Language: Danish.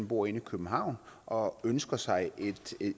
bor inde i københavn og ønsker sig